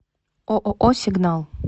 ооо сигнал